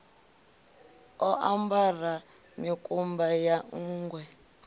o ambara mikumba ya nṋgwe